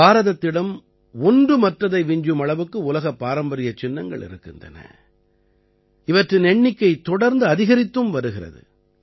பாரதத்திடம் ஒன்று மற்றதை விஞ்சும் அளவுக்கு உலக பாரம்பரியச் சின்னங்கள் இருக்கின்றன இவற்றின் எண்ணிக்கை தொடர்ந்து அதிகரித்தும் வருகிறது